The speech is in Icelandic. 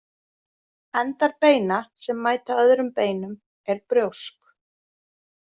Endar beina sem mæta öðrum beinum er brjósk.